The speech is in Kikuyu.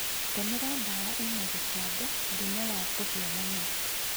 Tũmira dawa ina gicango ,mũrimũ wa kũhĩa mũmera